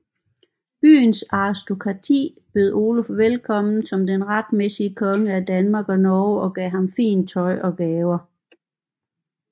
Byens aristokrati bød Oluf velkommen som den retmæssige konge af Danmark og Norge og gav ham fint tøj og gaver